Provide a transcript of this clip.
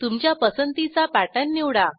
तुमच्या पसंतीचा पॅटर्न निवडा